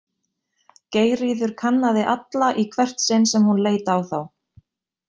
Geirríður kannaði alla í hvert sinn sem hún leit á þá.